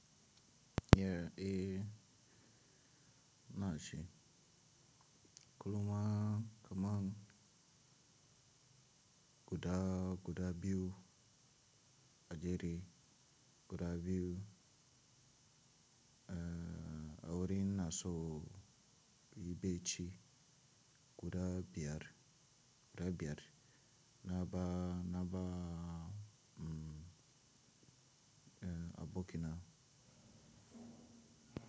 Yeah, eh na shi. Kulumah kaman guda, guda biyu a jere guda biyu eh a wurin na so in yibeci guda biyar, guda biyar na ba, na ba mm eh a bokina.